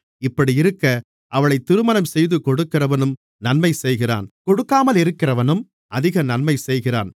இப்படியிருக்க அவளைத் திருமணம்செய்துகொடுக்கிறவனும் நன்மை செய்கிறான் கொடுக்காமலிருக்கிறவனும் அதிக நன்மை செய்கிறான்